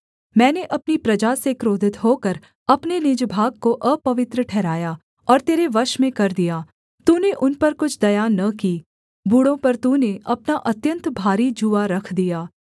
मैंने अपनी प्रजा से क्रोधित होकर अपने निज भाग को अपवित्र ठहराया और तेरे वश में कर दिया तूने उन पर कुछ दया न की बूढ़ों पर तूने अपना अत्यन्त भारी जूआ रख दिया